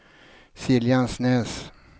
Siljansnäs